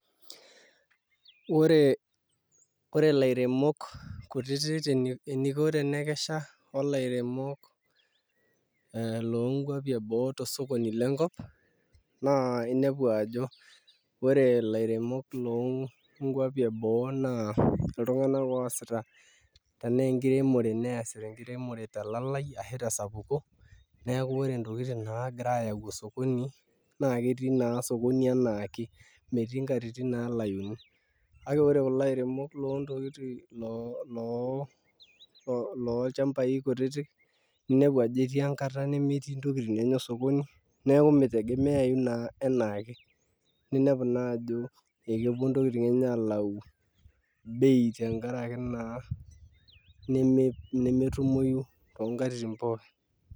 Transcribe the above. Ore ilairemok kuitik eneiko tenekesha olairemok loonkuapi eboo tosokoni lenkop naa inepu ajo ore ilairemok loonkuapi eboo naa iltung'anak oosita tenaa enkiremore nees tenkiremore telalai ashuu tesapuko neeku ore intokitin naagira aayau osokoni naa ketii naa osokoni enaake meetii inkatitin naalauni kake ore ilairemok loontokitin loo olchambai kutitik inepeku enkati nemetii intokitin enyanak sokoni neeku meitegemeyau enaake ninepu naaji ajo ekepuo intokitin enye aalau bei tenkaraki naa nemetumoyu toonkatitin pookin